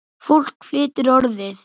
Fólk flytur Orðið.